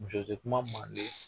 Muso te kuma Manden